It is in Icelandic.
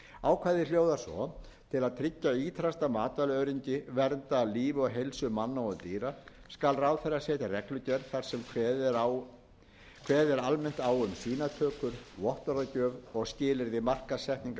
ákvæðið hljóðar svo til að tryggja ýtrasta matvælaöryggi vernda líf og heilsu manna og dýra skal ráðherra setja reglugerð þar sem að kveðið er almennt á um sýnatökur vottorðagjöf og skilyrði markaðssetningar